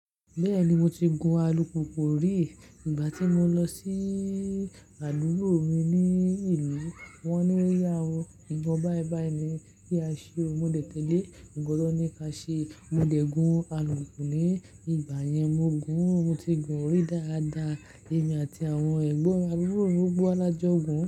Bẹ́ẹ̀ni mo ti gun alùpùpù rí. Ìgbà tí mo lọ sí àdúgbó mi ní ìlú, wọ́n ní o yà ó, ìbọn bá ẹ bá ẹ ni kí a ṣe o. Mo dẹ̀ tẹ̀lé, ǹ kan ti wọn ní ka ṣe, mo dẹ̀ gun alùpùpù ni. Ní ìgbà yẹn, mo gun, mo ti gun orí dáadáa, èmi àti àwọn ẹ̀gbọ́n mi. Àburo mi, gbọ́gbo wa la jọ gun.